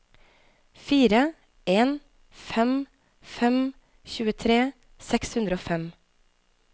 fire en fem fem tjuetre seks hundre og fem